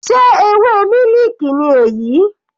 Sé ewé mílìkì ni èyí?